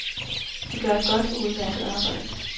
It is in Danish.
De gør et godt og udmærket arbejde.